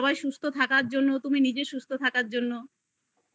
সবাই সুস্থ থাকার জন্য তুমি নিজে সুস্থ থাকার জন্য